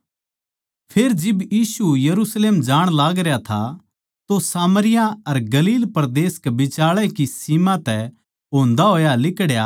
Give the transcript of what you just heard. फेर जिब यीशु यरुशलेम जाण लागरया था तो सामरिया अर गलील परदेस कै बिचाळै की सीम तै होन्दा होया लिकड्या